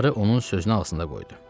Qarı onun sözünü ağzında qoydu.